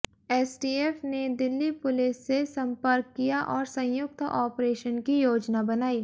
STF ने Delhi police से संपर्क किया और संयुक्त ऑपरेशन की योजना बनाई